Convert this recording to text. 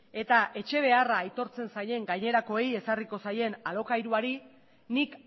eta etxe beharra aitortzen zaien gainerakoei ezarriko zaien alokairuari nik